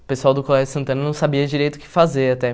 O pessoal do Colégio Santana não sabia direito o que fazer até.